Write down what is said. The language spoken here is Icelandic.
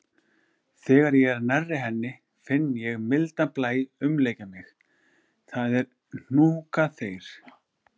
Þegar ég er nærri henni finn ég mildan blæ umlykja mig, það er hnúkaþeyr.